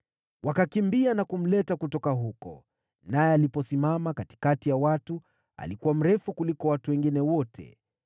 Wakakimbia na kumleta kutoka huko, naye aliposimama katikati ya watu, alikuwa mrefu kuliko watu wengine wote.